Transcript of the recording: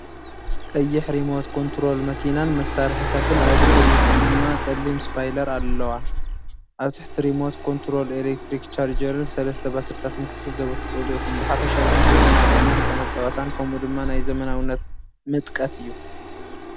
ቀይሕ ሪሞት ኮንትሮል መኪናን መሳርሒታትን፣ ኣብ ድሕሪት ድማ ጸሊም ስፖይለር ኣለዋ። ኣብ ታሕቲ ሪሞት ኮንትሮል ኤሌክትሪክ ቻርጀርን ሰለስተ ባትሪታትን ክትዕዘቡ ትኽእሉ ኢኹም። ብሓፈሻ እዚ ዘዘናግዕን ናይ ህጻናት ጸወታን ከምኡ ድማ ናይ ዘመናውነት ምጥቀት እዩ።